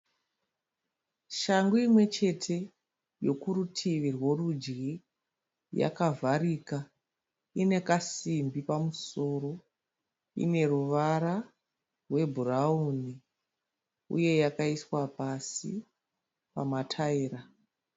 Shangu imwe chete yokurutivi rworudyi yakavharika ine kasimbi pamusoro ine ruvara rwebhurawuni uye yakaiswa pasi pamatayira.